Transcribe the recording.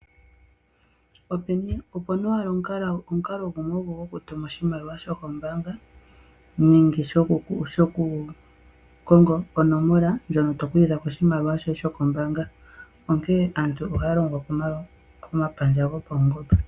Opuna owala omukalo gumwe ogo gokutuma oshimaliwa kombaanga nenge shoku konga onomola ndjono yoku kuthako oshimaliwa shoye shokombaanga ,onkene aantu ohaya taka komapandja gopawungomba.